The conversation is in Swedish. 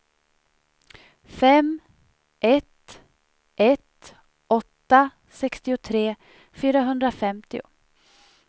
fem ett ett åtta sextiotre fyrahundrafemtio